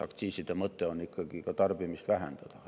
Aktsiiside mõte on ikkagi ka tarbimist vähendada.